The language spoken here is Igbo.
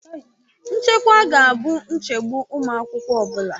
Nchekwa ga-abụ nchegbu ụmụ akwụkwọ ọ bụla